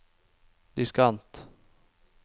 diskant